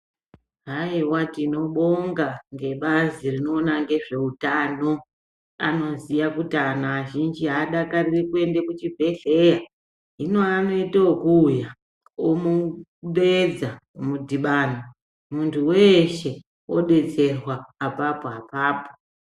Haiwa tinobonga ngebazi rinoona nezveutano anoziya kuti anthu azhinji aadakariri kuende kuchibhedhlera hino anoite okuuya omudeedza modhibana munhu weeshe odetsera apapo apapo.